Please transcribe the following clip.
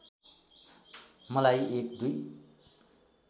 मलाई एक दुई